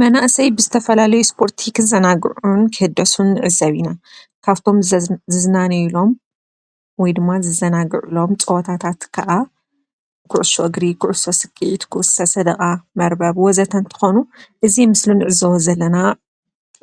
መናአሰይ ብዝተፈላለዩ ስፖርቲ ክዘናግዑን ክህደሱን ንዕዘብ ኢና፡፡ ካብቶም ዝዝናነይሎም ወይድማ ዝዘናግዑሎም ፀወታታት ከዓ ኩዕሶ እግሪ፣ ኩዕሶ ስኬዒት፣ ኩዕሶ ሰደቓ፣ መርበብ ወ ዘ ተ እንትኾኑ እዚ ምስሊ ንዕዘቦ ዘለና